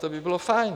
To by bylo fajn!